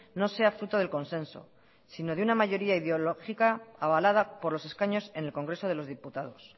no sea fruto del consenso sino de una mayoría ideológica avalada por los escaños en el congreso de los diputados